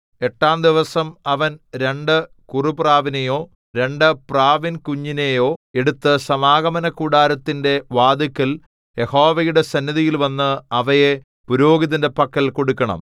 എട്ടാം ദിവസം അവൻ രണ്ടു കുറുപ്രാവിനെയോ രണ്ടു പ്രാവിൻകുഞ്ഞിനെയോ എടുത്ത് സമാഗമനകൂടാരത്തിന്റെ വാതില്ക്കൽ യഹോവയുടെ സന്നിധിയിൽ വന്ന് അവയെ പുരോഹിതന്റെ പക്കൽ കൊടുക്കണം